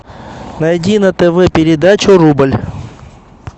найди на тв передачу рубль